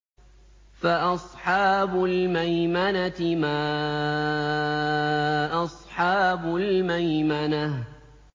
فَأَصْحَابُ الْمَيْمَنَةِ مَا أَصْحَابُ الْمَيْمَنَةِ